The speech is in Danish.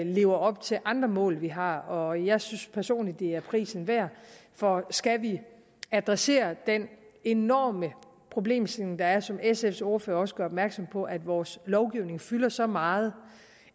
lever op til andre mål vi har og jeg synes personligt at det er prisen værd for skal vi adressere den enorme problemstilling der er og som sfs ordfører også gør opmærksom på med at vores lovgivning fylder så meget